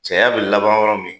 Caya be laban yɔrɔ min